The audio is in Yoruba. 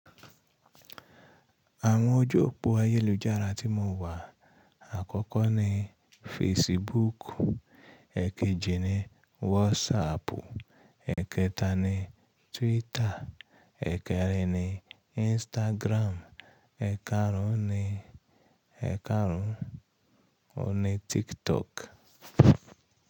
Àwọn ojú òpó ayélujára tí mo wà àkọ́kọ́ ni Facebook, èekejì ni WhatsApp, èekẹta ni Twitter, èekẹrin ni Instagram, eèkarùn ni, èekarùn, oun ni TikTok.